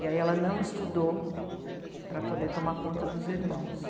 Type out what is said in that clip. E aí ela não estudou para poder tomar conta dos irmãos.